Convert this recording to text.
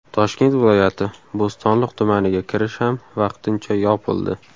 Toshkent viloyati Bo‘stonliq tumaniga kirish ham vaqtincha yopildi.